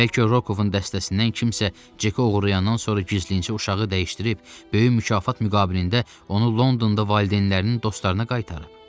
Bəlkə Rokovun dəstəsindən kimsə Ceki oğurlayandan sonra gizlincə uşağı dəyişdirib, böyük mükafat müqabilində onu Londonda valideynlərinin dostlarına qaytarıb.